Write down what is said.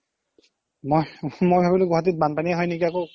মই ভাবিলো গুৱাহাতিত বান্পানিয়ে হয় নেকি আকৌ